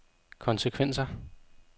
konsekvenser